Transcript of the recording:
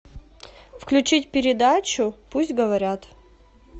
включить передачу пусть говорят